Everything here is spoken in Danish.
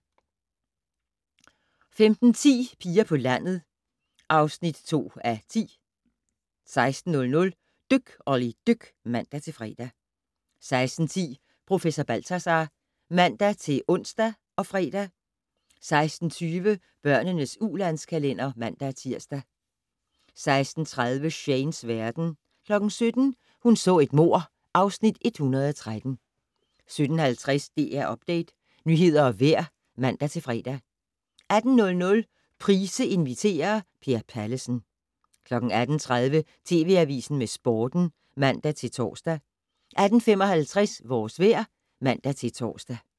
15:10: Piger på landet (2:10) 16:00: Dyk Olli dyk (man-fre) 16:10: Professor Balthazar (man-ons og fre) 16:20: Børnenes ulandskalender (man-tir) 16:30: Shanes verden 17:00: Hun så et mord (Afs. 113) 17:50: DR Update - nyheder og vejr (man-fre) 18:00: Price inviterer - Per Pallesen 18:30: TV Avisen med Sporten (man-tor) 18:55: Vores vejr (man-tor)